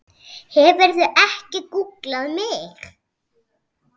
Hefurðu ekki gúgglað mig?!